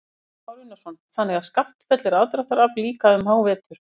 Kristján Már Unnarsson: Þannig að Skaftafell er aðdráttarafl líka um hávetur?